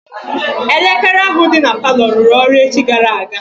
Elekere ahụ dị na palọ rụrụ ọrụ echi gara aga.